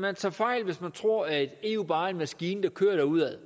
man tager fejl hvis man tror at eu bare en maskine der kører udad